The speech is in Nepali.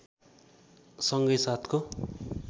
सँगै साथको